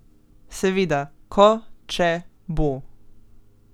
Seveda, ko, če, bo ...